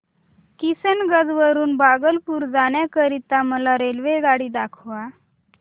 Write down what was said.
किशनगंज वरून भागलपुर जाण्या करीता मला रेल्वेगाडी दाखवा